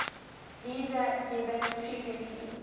visa debit previously